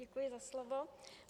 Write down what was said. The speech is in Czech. Děkuji za slovo.